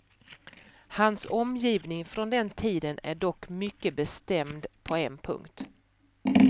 Hans omgivning från den tiden är dock mycket bestämd på en punkt.